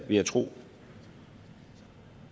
vil jeg tro